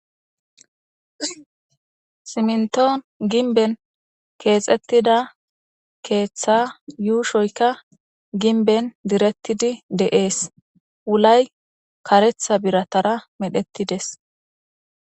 simntoon ginben keexettida keeththa yuushoyka ginben direttidi deees wulay karetha biratara medhettides